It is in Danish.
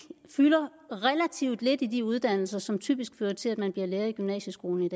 fylder relativt lidt i de uddannelser som typisk fører til at man i lærer i gymnasieskolen